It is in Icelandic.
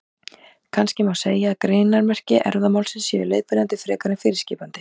Kannski má segja að greinarmerki erfðamálsins séu leiðbeinandi frekar en fyrirskipandi.